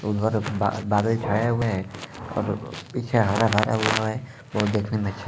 उधर बा बादल छाये हुआ है और पीछे हारा-भरा वो देखने में अच्छा--